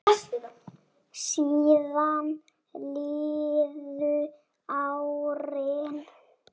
Síðan liðu árin.